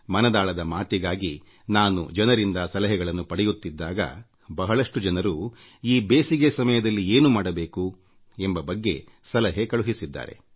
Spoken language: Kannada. ಮನದಾಳದ ಮಾತಿಗಾಗಿ ನಾನು ಜನರಿಂದ ಸಲಹೆಗಳನ್ನು ಪಡೆಯುತ್ತಿದ್ದಾಗ ಬಹಳಷ್ಟು ಜನರು ಈ ಬೇಸಿಗೆ ಸಮಯದಲ್ಲಿ ಏನು ಮಾಡಬೇಕು ಎಂಬ ಬಗ್ಗೆ ಸಲಹೆ ಕಳುಹಿಸಿದ್ದಾರೆ